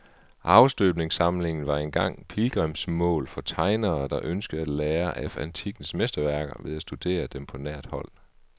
Afstøbningssamlingen var engang pilgrimsmål for tegnere, der ønskede at lære af antikkens mesterværker ved at studere dem på nært hold.